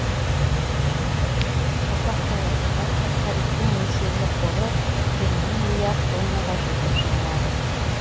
қазақ даласында фосфориттің мөлшерлі қоры жиырма миллиард тоннаға жетіп жығылады